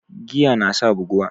Giya nasa buguwa